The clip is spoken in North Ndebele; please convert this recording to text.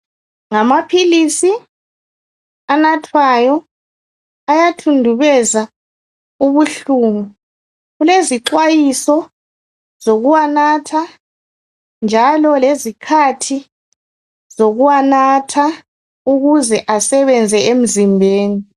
Ngamaphilizi anathwayo ayathundubeza ubuhlungu kulezixwayiso zokuwanatha njalo lezikhathi zokuwanatha ukuze asebenze emzimbeni